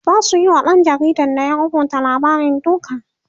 zasu Yi wa ɗan jaridan da ya rubuta labarin duka